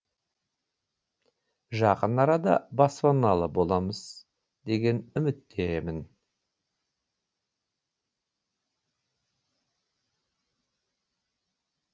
жақын арада баспаналы боламыз деген үміттемін